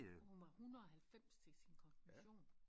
Hun var 190 til sin konfirmation